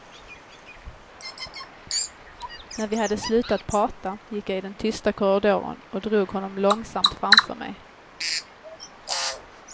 När vi hade slutat prata gick jag i den tysta korridoren och drog honom långsamt framför mig.